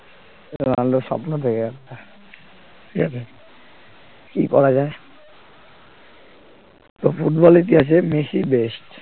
রোনাল্ডোর স্বপ্ন থেকে গেল আহ ঠিক আছে কি করা যায় তো ফুটবল ইতিহাসে মেসিই best